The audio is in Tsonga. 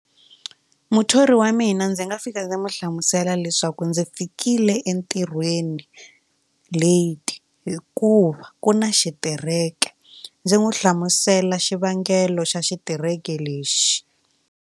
Muthori wa mina ndzi nga fika ndzi n'wi hlamusela leswaku ndzi fikile entirhweni late hikuva ku na xitereke ndzi n'wi hlamusela xivangelo xa xitereke lexi.